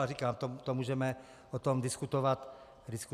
A říkám, o tom můžeme potom diskutovat na výboru.